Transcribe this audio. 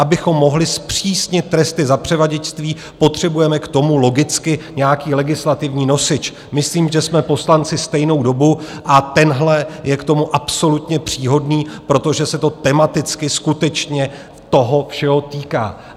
Abychom mohli zpřísnit tresty za převaděčství, potřebujeme k tomu logicky nějaký legislativní nosič - myslím, že jsme poslanci stejnou dobu - a tenhle je k tomu absolutně příhodný, protože se to tematicky skutečně toho všeho týká.